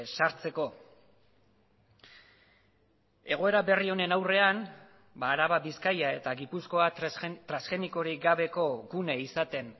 sartzeko egoera berri honen aurrean araba bizkaia eta gipuzkoa transgenikorik gabeko gune izaten